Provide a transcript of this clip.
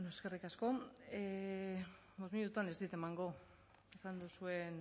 eskerrik asko bost minututan ez dit emango esan duzuen